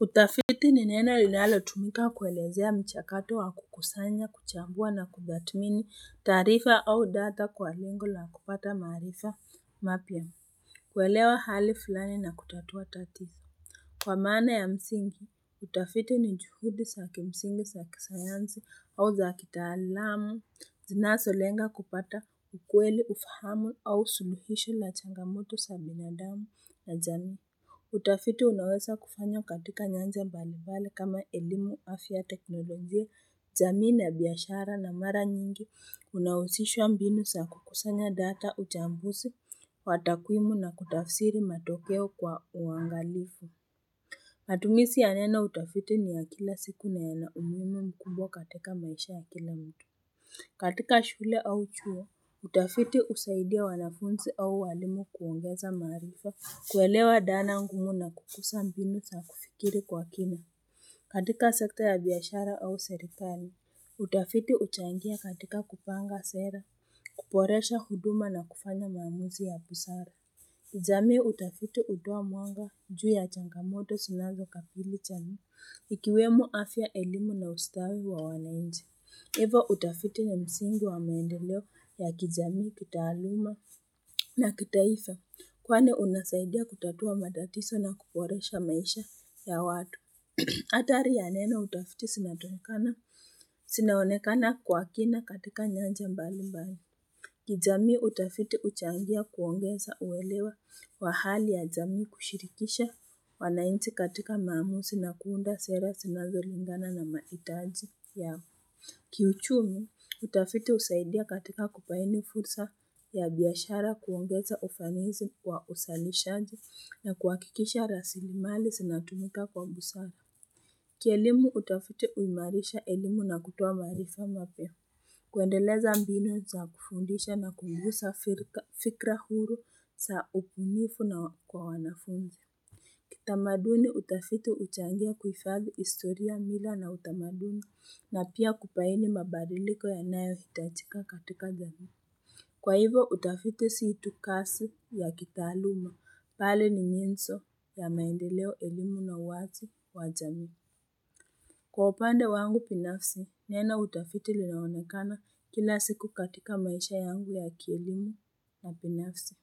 Utafiti ni neno linalotumika kuelezea mchakato wa kukusanya, kuchambua na kutathmini taarifa au data kwa lenge la kupata maarifa mapya. Kuelewa hali fulani na kutatua tatizo. Kwa maana ya msingi, utafiti ni juhudi zakimsingi, za kisayansi au za kitaalamu, zinazolenga kupata ukweli, ufahamu au suluhisho la changamoto za binadamu na jamii. Utafiti unaweza kufanywa katika nyanja mbalimbali kama elimu, afya, teknolojia, jamii na biashara na mara nyingi unahusisha mbinu sa kukusanya data uchambuzi wa takwimu na kutafsiri matokeo kwa uangalifu matumizi ya neno utafiti ni ya kila siku na yana umuhimu mkubwa katika maisha ya kila mtu. Katika shule au chuo, utafiti husaidia wanafunzi au walimu kuongeza maarifa, kuelewa dhana ngumu na kukuza mbinu za kufikiri kwa kina. Katika sekta ya biashara au serikali, utafiti huchangia katika kupanga sera, kuboresha huduma na kufanya maamuzi ya busara. Jamii utafiti hutoa mwanga juu ya changamoto zinazokabili jamii, ikiwemo afya, elimu na ustawi wa wananchi. Hivo utafiti ni msingi wa maendeleo ya kijamii, kitaluma na kitaifa kwani unasaidia kutatua matatizo na kuboresha maisha ya watu. Athari ya neno utafiti zinatokana, zinaonekana kwa kina katika nyanja mbali mbali. Kijamii, utafiti uchangia kuongeza uelewa wa hali ya jamii, kushirikisha. Wananchi katika mamuzi na kuunda sera zinazolingana na mahitaji ya kiuchumi. Utafiti husaidia katika kubaini fursa ya biashara kuongeza ufanisi kwa uzalishaji na kuhakikisha rasilimali zinatumika kwa ubusara. Kielimu, utafiti huimarisha elimu na kutoa maarifa mapya. Kuendeleza mbinu za kufundisha na kukuza fikra huru za ubunifu na kwa wanafunzi. Kitamaduni, utafiti huchangia kufadhi historia, mila na utamaduni na pia kubaini mabadiliko yanayo hitajika katika jamii. Kwa hivo utafiti si tu kazi ya kitaaluma, bali ni nyenzo ya maendeleo, elimu na uwazi wa jamii. Kwa upande wangu binafsi, neno utafiti lilaonekana kila siku katika maisha yangu ya kielimu na binafsi.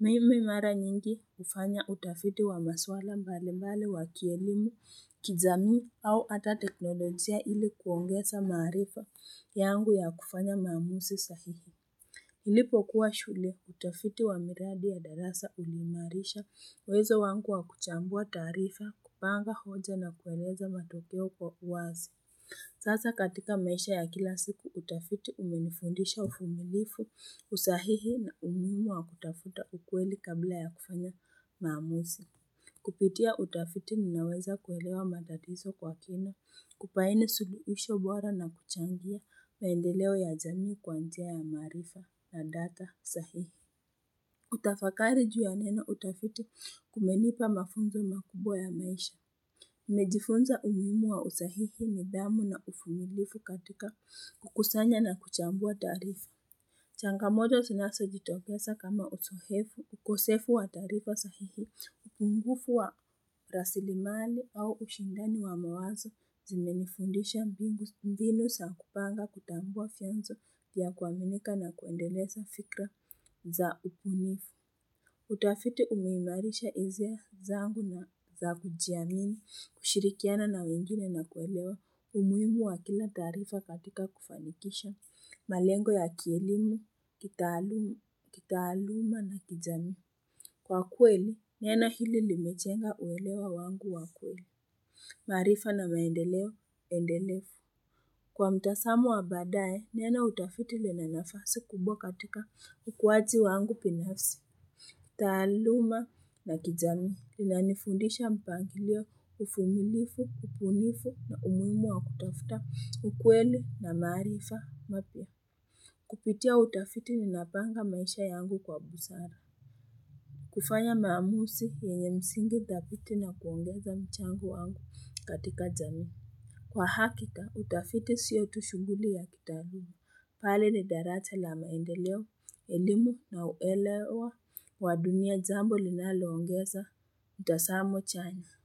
Mimi mara nyingi hufanya utafiti wa maswala mbali mbali wa kielimu, kijamii au hata teknolojia ili kuongeza maarifa yangu ya kufanya maamuzi sahihi. Nilipo kuwa shule, utafiti wa miradi ya darasa ulimarisha uwezo wangu wa kuchambua taarifa, kupanga hoja na kueleza matokeo kwa uwazi. Sasa katika maisha ya kila siku utafiti umenifundisha uvumilifu, usahihi na umuhimu wa kutafuta ukweli kabla ya kufanya maamuzi. Kupitia utafiti ninaweza kuelewa matatizo kwa kina, kubaini suluhisho bora na kuchangia maendeleo ya jamii kwa njia ya maarifa na data sahihi. Kutafakari juu ya neno utafiti kumenipa mafunzo makubwa ya maisha. Nimejifunza umuhimu wa usahihi, nidhamu na uvumilivu katika kukusanya na kuchambua taarifa. Changamoto zinazojitokeza kama uzoefu, ukosefu wa taarifa sahihi, upungufu wa rasilimali au ushindani wa mawazo zimenifundisha mbinu mbinu za kupanga, kutambua vyanzo ya kuaminika na kuendeleza fikra za ubunifu. Utafiti umeimarisha hisia zangu na za kujiamini, kushirikiana na wengine na kuelewa umuhimu wa kila taarifa katika kufanikisha malengo ya kielimu, kitaaluma na kijamii. Kwa kweli, neno hili limejenga uelewa wangu wa kweli. Maarifa na maendeleo, endelevu. Kwa mtazamo wa baadae, neno utafiti lena nafasi kubwa katika ukuwaji wangu binafsi. Taaluma ya kijamii inanifundisha mpangilio uvumilivu, ubunifu na umuhimu wa kutafuta ukweli na maarifa mapya Kupitia utafiti ninapanga maisha yangu kwa busara kufanya maamuzi yenye msingi dhabiti na kuongeza mchango wangu katika jamii. Kwa hakika, utafiti sio tu shughuli ya kitaaluma, bali ni daraja la maendeleo, elimu na uelewa wa dunia, jambo linaloongeza utazamo chanya.